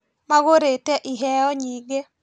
Magũrĩte iheo nyingĩ